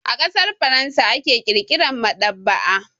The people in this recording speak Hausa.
A ƙasar Faransa aka ƙirƙira maɗaba'a.